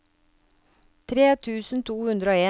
tre tusen to hundre og en